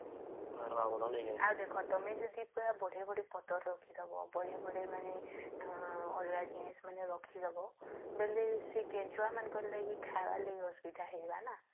ଆଉ ଦେଖା ତମେ ଯଦି ବଢେ ବଢେ ପତ୍ର ରଖି ଦବ ଆଉ ବଢେ ବଢେ ମାନେ ଅଲଗା ଜିନିଷ ମାନେ ରଖି ଦବ ବୋଲେ ସେ କେଞ୍ଚୁଆ ମାଙ୍କ ଲାଗି ଖାଇବାର ଲାଗି ଅସୁବିଧା ହେଇଯିବ ନ